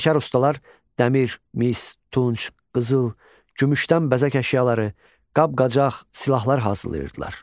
Peşəkar ustalar dəmir, mis, tunc, qızıl, gümüşdən bəzək əşyaları, qab-qacaq, silahlar hazırlayırdılar.